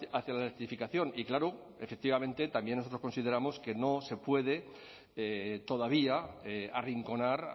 hacia la electrificación y claro efectivamente también nosotros consideramos que no se puede todavía arrinconar